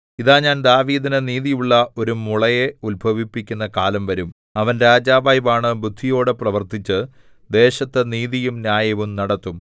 ഇതാ ഞാൻ ദാവീദിന് നീതിയുള്ള ഒരു മുളയെ ഉത്ഭവിപ്പിക്കുന്ന കാലം വരും അവൻ രാജാവായി വാണ് ബുദ്ധിയോടെ പ്രവർത്തിച്ച് ദേശത്തു നീതിയും ന്യായവും നടത്തും